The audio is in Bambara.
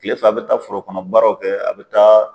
Kile fila a be taa foro kɔnɔ baaraw kɛ a be taa